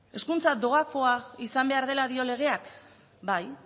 hezkuntza doakoa izan behar dela dio legeak bai